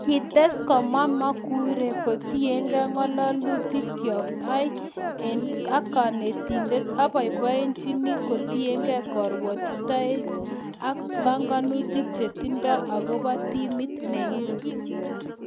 Kites komwa Maguire: Kotienge ng'ololuyikyok iih ak konetindet, aboiboiyenchini kotienge korwotitoet ak pongonutik che tindo agobo timit nenyin